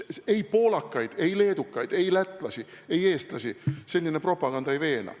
Poolakaid, leedukaid, lätlasi, eestlasi selline propaganda ei veena.